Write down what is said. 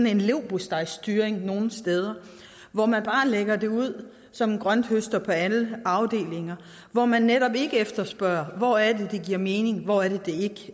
en leverpostejstyring nogle steder hvor man bare lægger det ud som en grønthøster på alle afdelinger og hvor man netop ikke efterspørger hvor det er det giver mening hvor det